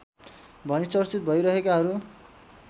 भनी चर्चित भइरहेकाहरू